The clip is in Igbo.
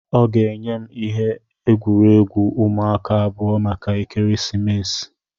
ọ ga-enye m ihe egwuregwu ụmụaka abụọ maka ekeresimesi